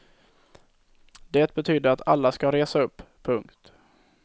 Det betydde att alla ska resa upp. punkt